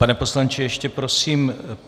Pane poslanče, ještě prosím.